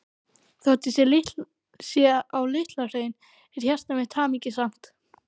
Þótt ég sé á Litla-Hrauni er hjarta mitt hamingjusamt.